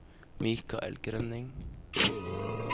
Mikael Grønning